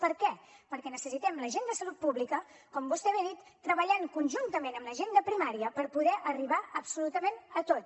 per què perquè necessitem la gent de salut pública com vostè bé ha dit treballant conjuntament amb la gent de primària per poder arribar absolutament a tot